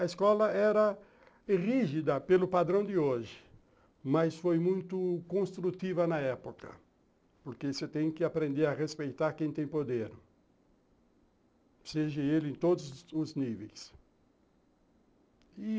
A escola era rígida, pelo padrão de hoje, mas foi muito construtiva na época, porque você tem que aprender a respeitar quem tem poder, seja ele em todos os níveis.